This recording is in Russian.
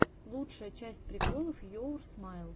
лучшая часть приколов йоур смайл